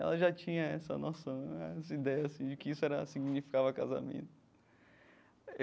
Ela já tinha essa noção, essa ideia assim de que isso era significava casamento.